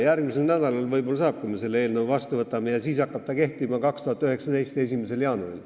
Järgmisel nädalal võib-olla saab, kui me selle eelnõu vastu võtame, ja seadus hakkab kehtima 2019. aasta 1. jaanuaril.